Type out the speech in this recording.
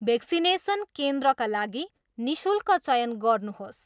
Vaccination केन्द्रका लागि निशुल्क चयन गर्नुहोस्।